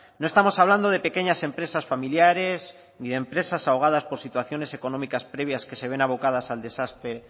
no estamos hablando de pequeñas empresas familiares ni de empresas ahogadas por situaciones económicas previas que se ven abocadas al desastre